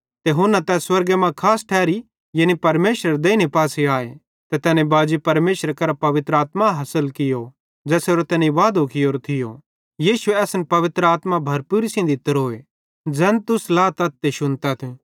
ते हुना तै स्वर्गे मां खास ठैरी यानी परमेशरेरे देइने पासे आए ते तैने बाजी परमेशरे करां पवित्र आत्मा हासिल की ज़ेसेरो तैने वादो कियोरो थियो यीशुए असन पवित्र आत्मा भरपूरी सेइं दित्तोरीए ज़ैन तुस लातथ ते शुन्तथ